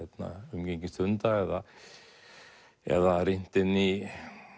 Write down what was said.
umgengist hunda eða eða rýnt inn í